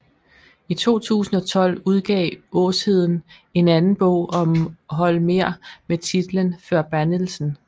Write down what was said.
I 2012 udgav Åsheden en anden bog om Holmér med titlen Förbannelsen